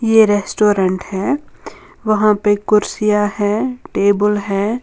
ये रेस्टोरेंट है वहां पे कुर्सियां है टेबल है।